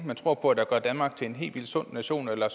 tror på gør danmark til en helt vildt sund nation eller